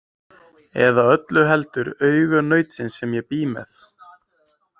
Eða öllu heldur augu nautsins sem ég bý með.